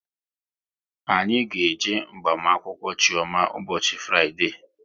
Anyị ga-eje agbamakwụkwọ Chioma ụbọchị Fraịdee